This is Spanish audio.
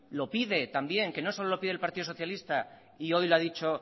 lo pide también que no solo lo pide el partido socialista y hoy lo ha dicho